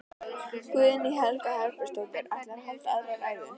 Guðný Helga Herbertsdóttir: Ætlarðu að halda aðra ræðu?